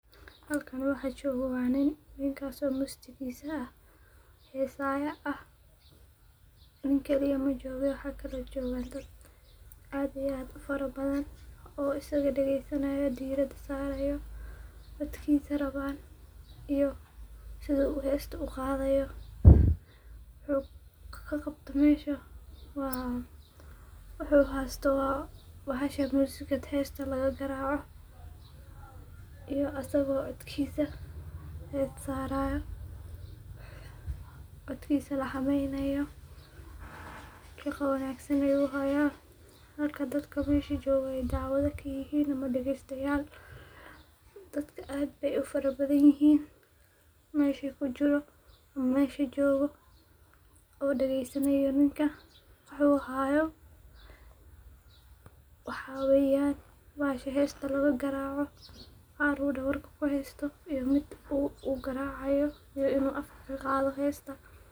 Halkani waxaa jogo waa nin, ninkas oo mustigis hesaya ah, nin kali eh majoge waxa kalo jogan sas aad iyo aad u fara badan oo isga dagesanayo dirada sarayo dadkisa rawan iyo sithu u hesta uqadhayo, wuxuu ka qabto mesha wuxuu hasto waa bahasha music ta hesta laga qaraco iyo isago codkisa hesta sarayo, codkisa laxameynayo, shaqa wanagsan ayu haya halka dadka mesha jogo ee dawashayal ama dagestayal ee ka yihin, dadka aad be u fara badan yihin meshu ku jiro mesha jogo ninka wuxuu hayo, waxaa weyan bahasha hesta laga garaco u dawarka ku hasto iyo miid u garacaya iyo in u afka ka qadho hesta.